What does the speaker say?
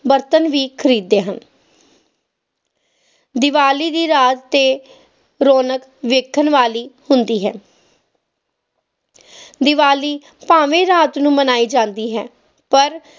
ਬਰਤਨ ਵੀ ਖਰੀਦਦੇ ਹਨ ਦੀਵਾਲੀ ਦੀ ਰਾਤ ਤੇ ਰੌਣਕ ਦੇਖਣ ਵਾਲੀ ਹੁੰਦੀ ਹੈ ਦੀਵਾਲੀ ਭਾਵੇਂ ਰਾਤ ਨੂੰ ਮਨਾਈ ਜਾਂਦੀ ਹੈ ਪਰ